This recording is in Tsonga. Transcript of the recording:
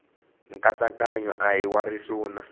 nkatsakanyo a hi wa risuna